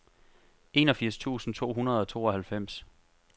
enogfirs tusind to hundrede og tooghalvfems